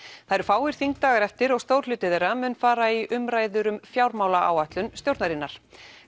það eru fáir þingdagar eftir og stór hluti þeirra mun fara í umræður um fjármálaáætlun stjórnarinnar